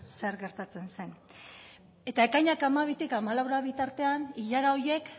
zer gertatzen zen eta ekainak hamabitik hamalaura bitartean ilara horiek